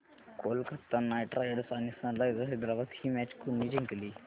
Kolkata knight riders आणि sunrisers Hyderabad ही match कोणी जिंकली